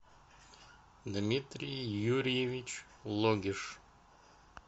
дмитрий юрьевич логиш